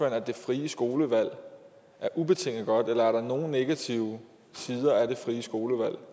at det frie skolevalg er ubetinget godt eller er der nogen negative sider af det frie skolevalg